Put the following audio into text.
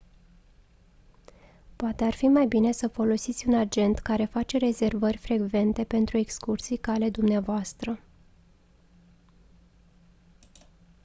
poate ar fi mai bine să folosiți un agent care face rezervări frecvente pentru excursii ca ale dumneavoastră